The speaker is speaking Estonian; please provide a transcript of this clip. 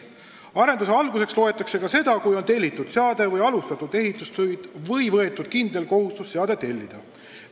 Arenduse alguseks loetakse ka seda, kui on tellitud seade või alustatud ehitustöid või võetud kindel kohustus seade tellida.